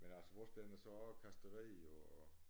Men altså vores den er så kastreret og